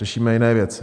Řešíme jiné věci.